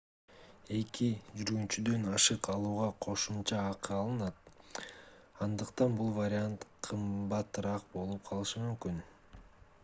2 жүргүнчүдөн ашык алууга кошумча акы алынат андыктан бул вариант кымбатыраак болуп калышы мүмкүн